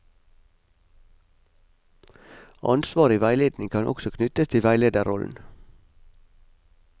Ansvar i veiledning kan også knyttes til veilederrollen.